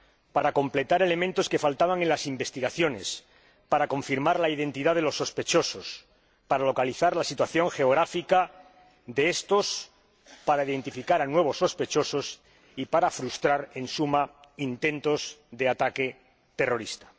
para completar elementos que faltaban en las investigaciones, para confirmar la identidad de los sospechosos, para localizar la situación geográfica de estos, para identificar a nuevos sospechosos y para frustrar, en suma, intentos de ataque terrorista.